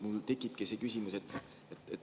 Mul tekibki küsimus.